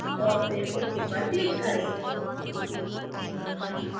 और फिर ok पर click करें